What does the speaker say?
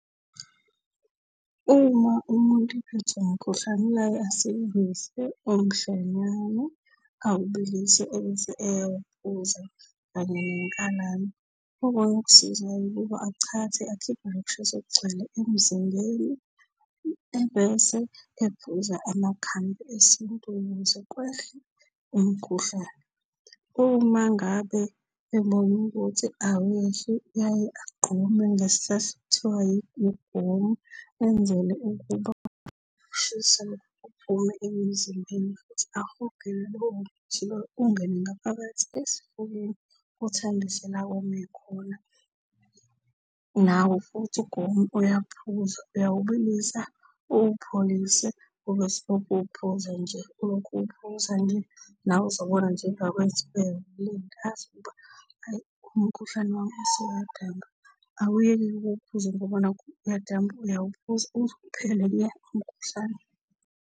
Uma umuntu ephethwe umkhuhlane uyaye asebenzise omhlonyane awubilise ebese eyawuphuza kanye nenkalane. Okunye okusizayo ukuba achathe akhiphe lo kushisa okugcwele emzimbeni ebese ephuza amakhambi esintu ukuze kwehle umkhuhlane. Uma ngabe ebona ukuthi awehli uyaye agqume ngesihlahla okuthiwa ugomu enzele ukuba ukushisa kuphume emzimbeni futhi ahogele lowo muthi lowo ungene ngaphakathi esifubeni uthambise la okome khona. Nawo futhi ugomu uyaphuzwa, uyawubilisa, uwupholise ubese uwuphuza nje, ulokhu uwuphuza nje. Nawe uzobona nje emva kwey'nsuku ey'mbili ey'ntathu ukuba ayi umkhuhlane wami usuyadamba. Awuyeki-ke ukuwuphuza ngoba nakhu uyadamba, uyawuphuza uze uphele nya umkhuhlane.